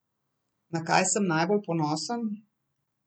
Na kaj sem najbolj ponosen?